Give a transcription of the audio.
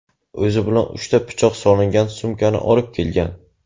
O‘zi bilan uchta pichoq solingan sumkani olib kelgan.